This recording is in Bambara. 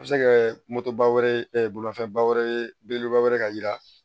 A bɛ se kɛ wɛrɛ bolifɛnba wɛrɛ ye belebeleba wɛrɛ ka yira